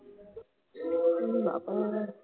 ই বাবা